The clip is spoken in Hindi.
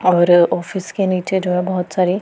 और ऑफिस के नीचे जो है बहोत सारे--